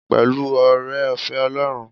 Pẹ̀lú oore-ọ̀fẹ́ Ọlọ́run.